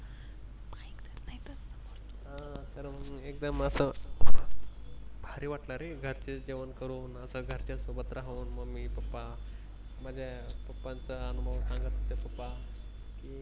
एकदम मस्त भारी वाटलं रे. घरचे जेवण करून असं घरच्या सोबत राहून Mummy, Pappa माझ्या Pappa चा अनुभव सांगत होते Pappa.